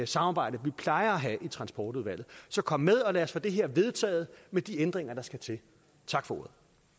samarbejde vi plejer at have i transportudvalget så kom med og lad os få det her vedtaget med de ændringer der skal til tak for